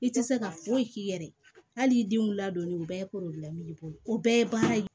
I tɛ se ka foyi k'i yɛrɛ ye hali i denw ladonni o bɛɛ ye bolo o bɛɛ ye baara ye